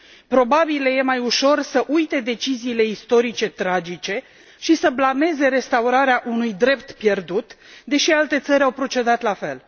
Probabil le e mai ușor să uite deciziile istorice tragice și să blameze restaurarea unui drept pierdut, deși alte țări au procedat la fel.